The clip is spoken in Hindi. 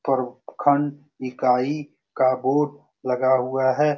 प्रखंड इकाई का बोर्ड लगा हुआ है।